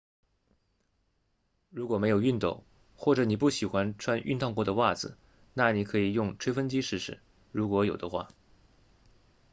如果没有熨斗或者你不喜欢穿熨烫过的袜子那你可以用吹风机试试如果有的话